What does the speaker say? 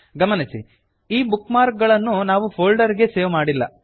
ಗಮನಿಸಿ ಈ bookmark ಗಳನ್ನು ನಾವು ಫೋಲ್ಡರ್ ಗೆ ಸೇವ್ ಮಾಡಿಲ್ಲ